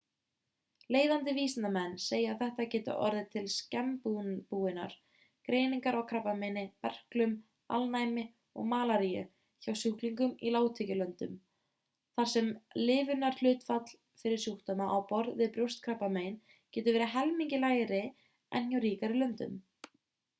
leiðandi vísindamenn segja að þetta geti orðið til snemmbúinnar greiningar á krabbameini berklum alnæmi og malaríu hjá sjúklingum í lágtekjulöndum þar sem lifunarhlutfall fyrir sjúkdóma á borð við brjóstakrabbamein getur verið helmingi lægri en hjá ríkari löndum